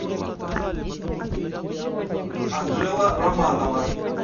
анжела романова